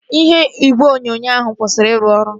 Ihe igwe onyonyo ahụ kwụsịrị iru ọrụ